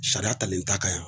Sariya talen t'a kan yan.